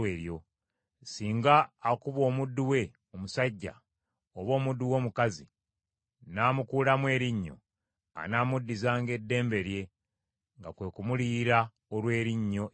Singa akuba omuddu we omusajja oba omuddu we omukazi, n’amukuulamu erinnyo, anaamuddizanga eddembe lye, nga kwe kumuliyira olw’erinnyo eryo.